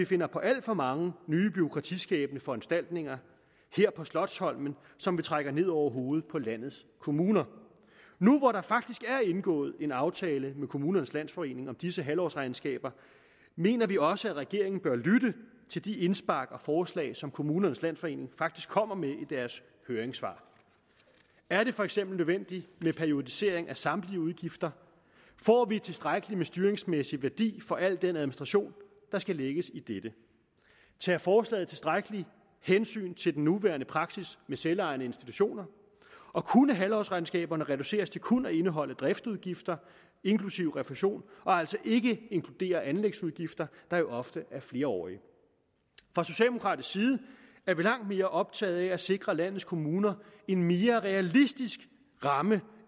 finder på alt for mange nye bureaukratiskabende foranstaltninger her på slotsholmen som vi trækker ned over hovedet på landets kommuner nu hvor der faktisk er indgået en aftale med kommunernes landsforening om disse halvårsregnskaber mener vi også at regeringen bør lytte til de indspark og forslag som kommunernes landsforening faktisk kommer med i deres høringssvar er det for eksempel nødvendigt med periodisering af samtlige udgifter får vi tilstrækkelig med styringsmæssig værdi for al den administration der skal lægges i dette tager forslaget tilstrækkeligt hensyn til den nuværende praksis med selvejende institutioner og kunne halvårsregnskaberne reduceres til kun at indeholde driftsudgifter inklusive refusion og altså ikke inkludere anlægsudgifter der jo ofte er flerårige fra socialdemokratisk side er vi langt mere optaget af at sikre landets kommuner en mere realistisk ramme